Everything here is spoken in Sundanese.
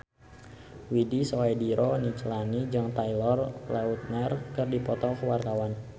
Widy Soediro Nichlany jeung Taylor Lautner keur dipoto ku wartawan